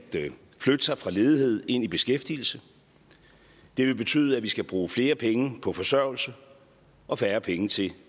flytte sig fra ledighed ind i beskæftigelse det vil betyde at vi skal bruge flere penge på forsørgelse og færre penge til